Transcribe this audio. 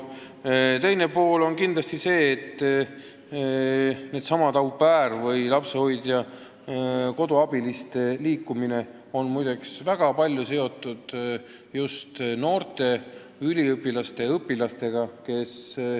Teiseks, nendesamade au pair'ide või lapsehoidjate-koduabiliste liikumine on muide väga palju seotud just noortega, üliõpilaste ja õpilastega.